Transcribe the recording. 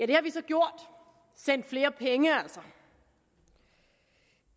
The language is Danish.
det har vi så gjort sendt flere penge altså